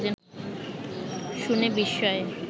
শুনে বিস্ময়ে